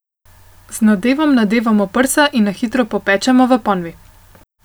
Z nadevom nadevamo prsa in na hitro popečemo v ponvi.